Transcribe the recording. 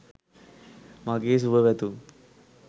මගේ සුභ පැතුම්